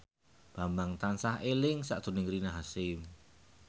Bambang tansah eling sakjroning Rina Hasyim